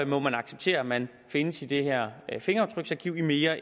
må man acceptere at man findes i det her fingeraftryksarkiv i mere